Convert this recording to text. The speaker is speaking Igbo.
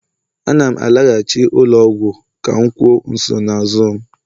Ana m alaghachi ụlọ ọgwụ ka m kwuo nsonaazụ m.